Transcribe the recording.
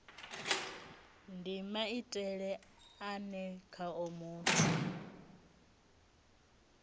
ndi maitele ane khao muthu